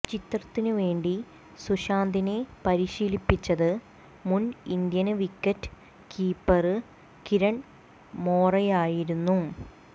ചിത്രത്തിനു വേണ്ടി സുശാന്തിനെ പരിശീലിപ്പിച്ചത് മുന് ഇന്ത്യന് വിക്കറ്റ് കീപ്പര് കിരണ് മോറെയായിരുന്നു